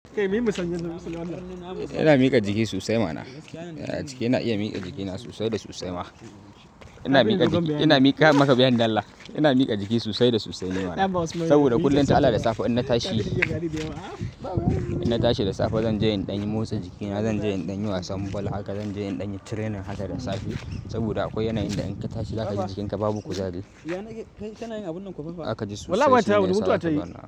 Ina miƙa jiki sosai ma na. Jiki ina iya miƙa jikina sosai da sosai ma. Ina miƙa jiki, Ina miƙa maka bayyani dalla. Ina miƙa jiki sosai da sosai ne ma na. Saboda kullum ta al'ada safe in na tashi, in na tashi da safe zan je in ɗan in motsa jikina, zan je in ɗan in yi wasan ball, haka zan je in ɗan in yi training haka da safe. Saboda akwai yanayin da in ka tashi haka ji jikinka babu kuzari. Zaka ji sosai sune, yana sa ka zama.